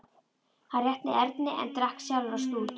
Hann rétti Erni en drakk sjálfur af stút.